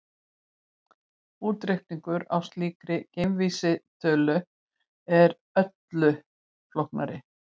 Útreikningur á slíkri greindarvísitölu er öllu flóknari.